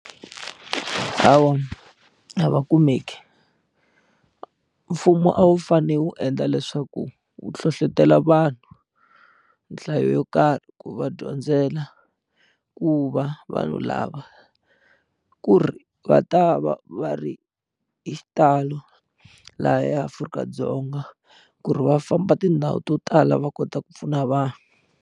Hawa a va kumeki mfumo a wu fane wu endla leswaku wu hlohlotelo vanhu nhlayo yo karhi ku va dyondzela ku va vanhu lava ku ri va ta va va ri hi xitalo laha eAfrika-Dzonga ku ri va famba tindhawu to tala va kota ku pfuna vanhu.